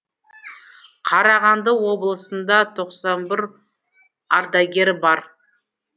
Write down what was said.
қарағанды облысында тоқсан бір ардагер бар